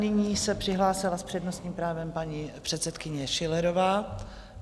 Nyní se přihlásila s přednostním právem paní předsedkyně Schillerová.